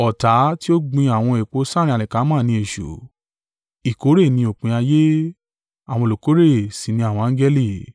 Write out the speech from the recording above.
ọ̀tá tí ó gbin àwọn èpò sáàrín alikama ni èṣù. Ìkórè ni òpin ayé, àwọn olùkórè sì ní àwọn angẹli.